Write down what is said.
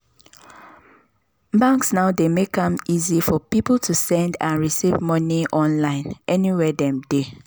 banks now dey make am easy for people to send and receive money online anywhere dem they.